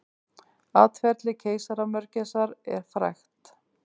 Atferli keisaramörgæsar er frægt.